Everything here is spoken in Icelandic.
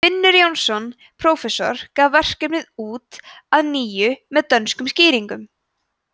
finnur jónsson prófessor gaf verkið út að nýju með dönskum skýringum